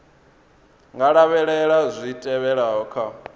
nga lavhelela zwi tevhelaho kha